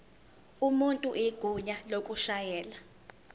umuntu igunya lokushayela